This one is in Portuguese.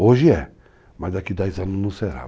Hoje é, mas daqui a 10 anos não será.